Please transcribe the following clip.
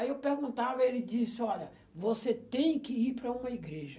Aí eu perguntava, ele disse, olha, você tem que ir para uma igreja.